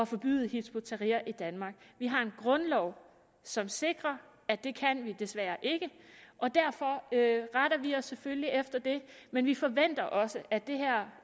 forbyde hizb ut tahrir i danmark vi har en grundlov som sikrer at det kan vi desværre ikke og derfor retter vi os selvfølgelig efter det men vi forventer også at det her